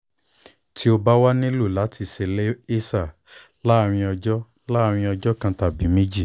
ti o ba wa o nilo lati ṣe laser laarin ọjọ laarin ọjọ kan tabi meji